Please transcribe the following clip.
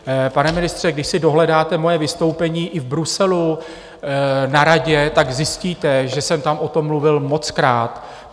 Pane ministře, když si dohledáte moje vystoupení i v Bruselu na Radě, tak zjistíte, že jsem tam o tom mluvil mockrát.